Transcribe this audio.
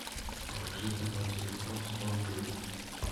положить на мой телефон сто рублей